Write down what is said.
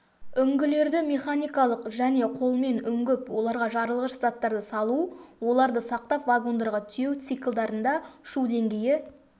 үңгілерді механикалық және колмен үңгіп оларға жарылғыш заттарды салу оларды сақтап вагондарға тиеу циклдарында шу деңгейі